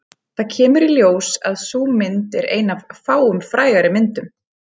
Það kemur í ljós að sú mynd er ein af fáum frægari myndum